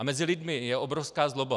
A mezi lidmi je obrovská zloba.